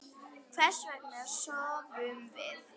Hvers vegna sofum við?